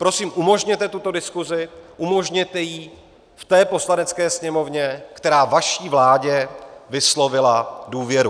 Prosím umožněte tuto diskuzi, umožněte ji v té Poslanecké sněmovně, která vaší vládě vyslovila důvěru.